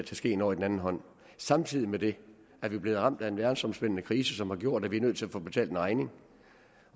skeen over i den anden hånd samtidig med det er vi blevet ramt af en verdensomspændende krise som har gjort at vi er nødt til at få betalt en regning